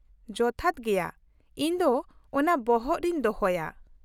-ᱡᱚᱛᱷᱟᱛ ᱜᱮᱭᱟ, ᱤᱧ ᱫᱚ ᱚᱱᱟ ᱵᱚᱦᱚᱜ ᱨᱮᱧ ᱫᱚᱦᱚᱭᱟ ᱾